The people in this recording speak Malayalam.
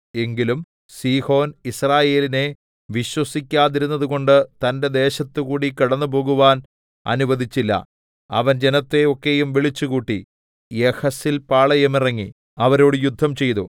എങ്കിലും സീഹോൻ യിസ്രായേലിനെ വിശ്വസിക്കാതിരുന്നതുകൊണ്ട് തന്റെ ദേശത്തുകൂടി കടന്നുപോകുവാൻ അനുവദിച്ചില്ല അവൻ ജനത്തെ ഒക്കെയും വിളിച്ചുകൂട്ടി യഹസിൽ പാളയമിറങ്ങി അവരോട് യുദ്ധംചെയ്തു